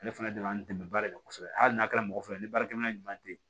Ale fana de y'an dɛmɛ baara de la kosɛbɛ hali n'a kɛra mɔgɔ fila ye ni baarakɛminɛn ɲuman tɛ yen